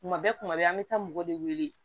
Kuma bɛɛ kuma bɛɛ an bɛ taa mɔgɔ de wele